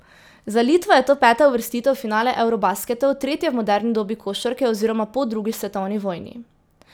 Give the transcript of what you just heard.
Za Litvo je to peta uvrstitev v finale eurobasketov, tretja v moderni dobi košarke oziroma po drugi svetovni vojni.